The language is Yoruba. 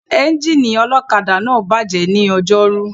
Ẹ́ńjìnì ọ̀kadà náà bàjẹ́ ní Ọjọ́rú